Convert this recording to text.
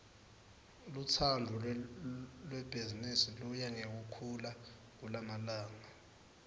lutsandvo lwebhizimisi luya ngekukhula kulamalanga